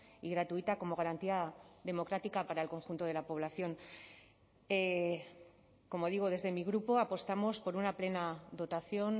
y gratuita como garantía democrática para el conjunto de la población como digo desde mi grupo apostamos por una plena dotación